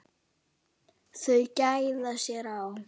Þau gæða sér á